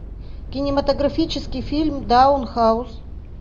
кинематографический фильм даун хаус